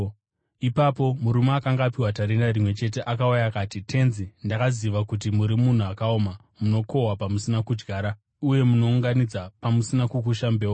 “Ipapo murume akanga apiwa tarenda rimwe chete akauya, akati, ‘Tenzi, ndakaziva kuti muri munhu akaoma, munokohwa pamusina kudyara uye munounganidza pamusina kukusha mbeu.